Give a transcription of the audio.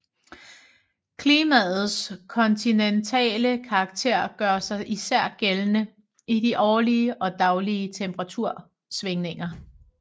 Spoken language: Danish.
Klimaets kontinentale karakter gør sig især gældende i de årlige og daglige temperatursvingninger